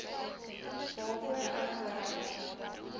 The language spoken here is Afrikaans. waarvoor ek bereid